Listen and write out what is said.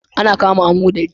Ana cama amodari.